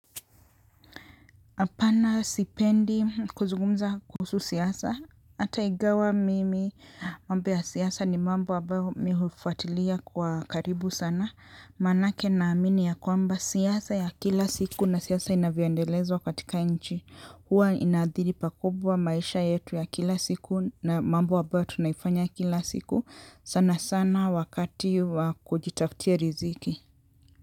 Apana sipendi kuzungumza kuhusu siasa, ata igawa mimi mambo ya siasa ni mambo ambayo mi hufuatilia kwa karibu sana, manake naamini ya kwamba siasa ya kila siku na siasa inavyandelezwa katika nchi, huwa inaadhiri pakubwa maisha yetu ya kila siku na mambo abayo tunaifanya kila siku, sana sana wakati wa kujitafutia riziki.